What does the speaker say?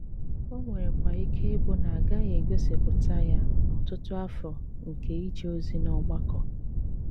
Ó nwérékwà íké íbụ́ ná ágàghị égósípùta yá n’ótụ́tù àfọ́ nké íjé òzí n’ọ́gbàkọ́.